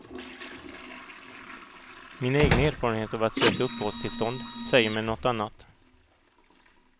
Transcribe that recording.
Mina egna erfarenheter av att söka uppehållstillstånd säger mig något annat.